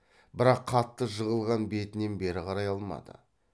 бірақ қатты жығылған бетінен бері қарай алмады